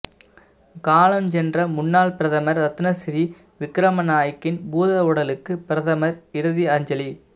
காலஞ்சென்ற முன்னாள் பிரதமர் ரத்னசிறி விக்ரமநாயக்கின் பூதவுடலுக்கு பிரதமர் இறுதி அஞ்சலி